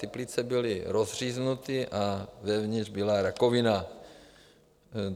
Ty plíce byly rozříznuté a vevnitř byla rakovina.